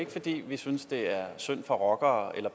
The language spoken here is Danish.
ikke fordi vi synes det er synd for rockere